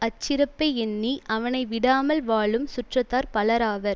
அச்சிறப்பை எண்ணி அவனை விடாமல் வாழும் சுற்றத்தார் பலராவர்